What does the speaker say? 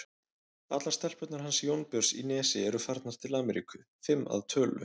Allar stelpurnar hans Jónbjörns í Nesi eru farnar til Ameríku, fimm að tölu.